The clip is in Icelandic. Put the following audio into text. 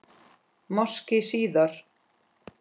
Máski síðar.